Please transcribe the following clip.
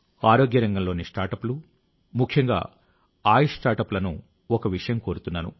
ఆరోగ్య రంగంలోని స్టార్ట్అప్లు ముఖ్యంగా ఆయుష్ స్టార్ట్అప్లను ఒక విషయం కోరుతున్నాను